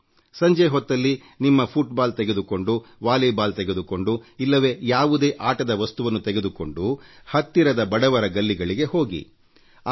ಸಂಜೆ ಹೊತ್ತಲ್ಲಿ ನಿಮ್ಮ ಫುಟ್ಬಾಲ್ ತೆಗೆದುಕೊಂಡು ವಾಲಿಬಾಲ್ ತೆಗೆದುಕೊಂಡು ಇಲ್ಲವೇ ಯಾವುದೇ ಆಟದ ವಸ್ತುವನ್ನು ತೆಗೆದುಕೊಂಡು ಹತ್ತಿರದ ಬಡವರ ಮತ್ತು ಸೌಲಭ್ಯ ವಂಚಿತರ ಕಾಲೋನಿಗಳಿಗೆ ಹೋಗಿ